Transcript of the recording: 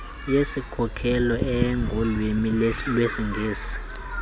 yesikhokelo engolwimi lwesingesi